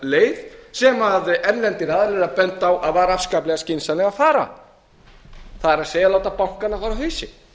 leið sem erlendir aðilar voru að benda á að var afskaplega skynsamlegt að fara það er láta bankana fara á hausinn